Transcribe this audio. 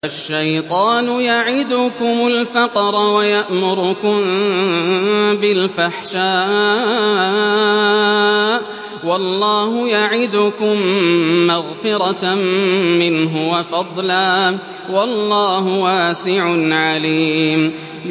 الشَّيْطَانُ يَعِدُكُمُ الْفَقْرَ وَيَأْمُرُكُم بِالْفَحْشَاءِ ۖ وَاللَّهُ يَعِدُكُم مَّغْفِرَةً مِّنْهُ وَفَضْلًا ۗ وَاللَّهُ وَاسِعٌ عَلِيمٌ